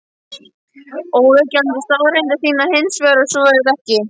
Óyggjandi staðreyndir sýna hins vegar að svo er ekki.